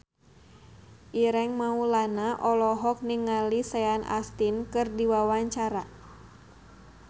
Ireng Maulana olohok ningali Sean Astin keur diwawancara